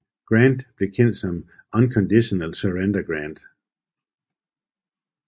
Grant blev kendt som Unconditional Surrender Grant